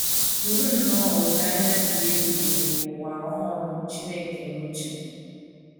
Buru nnọọ olileanya dị ebube nke ụwa ọhụrụ Chineke n’uche